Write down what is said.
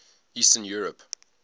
eastern europe